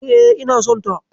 E, ina sonta.